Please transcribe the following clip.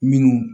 Minnu